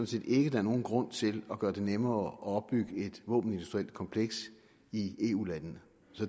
set ikke der er nogen grund til at gøre det nemmere at opbygge et våbenindustrielt kompleks i eu landene